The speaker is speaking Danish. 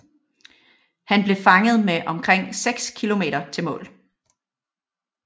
Han blev fanget med omkring seks kilometer til mål